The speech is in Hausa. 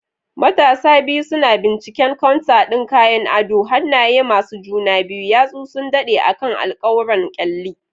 Matasan biyu suna binciken counter ɗin kayan adon, hannaye masu juna biyu, yatsu suna daɗe akan alkawuran kyalli.